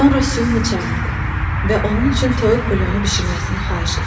Sonra Su-ni çağırdı və onun üçün toyuq bulyonu bişirməsini xahiş etdi.